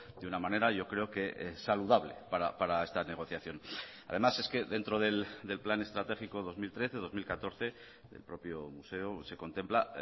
de una manera yo creo que saludable para esta negociación además es que dentro del plan estratégico dos mil trece dos mil catorce del propio museo se contempla